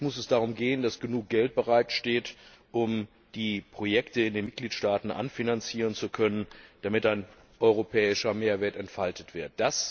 Jetzt muss es darum gehen, dass genug Geld bereitsteht, um die Projekte in den Mitgliedstaaten anfinanzieren zu können, damit ein europäischer Mehrwert entfaltet wird.